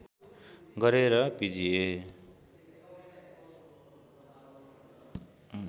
गरे र पिजिए